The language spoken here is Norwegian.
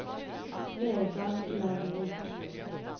Vegard Lervik